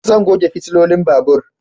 Zan goge fitilolin babur